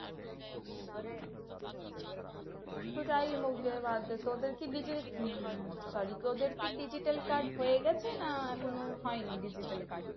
সেটাই তোদের কি হম sorry তোদের কি digital card হয়ে গেছে না এখনো হয়নি digital card